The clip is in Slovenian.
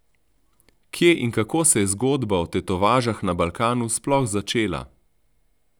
Kje in kako se je zgodba o tetovažah na Balkanu sploh začela?